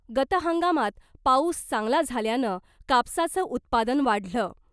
गत हंगामात पाऊस चांगला झाल्यानं कापसाचं उत्पादन वाढलं